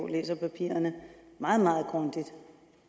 læser papirerne meget meget grundigt og